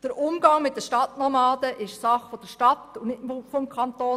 Der Umgang mit den Stadtnomaden ist Sache der Stadt und nicht des Kantons.